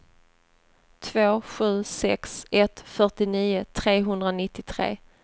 två sju sex ett fyrtionio trehundranittiotre